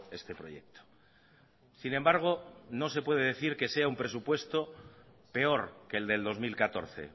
este proyecto sin embargo no se puede decir que sea un presupuesto peor que el del dos mil catorce